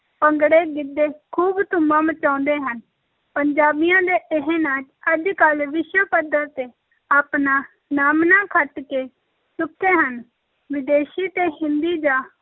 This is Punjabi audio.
ਭੰਗੜੇ, ਗਿੱਧੇ ਖੂਬ ਧੁੰਮਾਂ ਮਚਾਉਂਦੇ ਹਨ, ਪੰਜਾਬੀਆਂ ਦੇ ਇਹ ਨਾਚ ਅੱਜ-ਕੱਲ੍ਹ ਵਿਸ਼ਵ ਪੱਧਰ ‘ਤੇ ਆਪਣਾ ਨਾਮਣਾ ਖੱਟ ਕੇ ਚੁੱਕੇ ਹਨ, ਵਿਦੇਸ਼ੀ ਤੇ ਹਿੰਦੀ ਜਾਂ